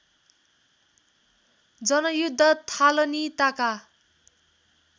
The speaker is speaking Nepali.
जनयुद्ध थालनीताका